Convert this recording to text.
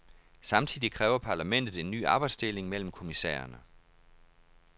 Samtidig kræver parlamentet en ny arbejdsdeling mellem kommissærerne.